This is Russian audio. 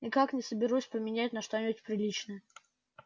никак не соберусь поменять на что-нибудь приличное